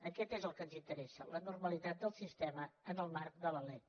això és el que ens interessa la normalitat del sistema en el marc de la lec